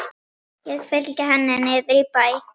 Ég fylgi henni niður í bæ.